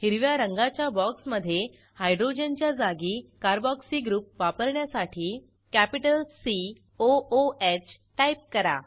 हिरव्या रंगाच्या बॉक्समधे हायड्रोजनच्या जागी कार्बोक्सी ग्रुप वापरण्यासाठी capital C O O H type करा